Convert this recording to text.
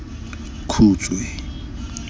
khutshwe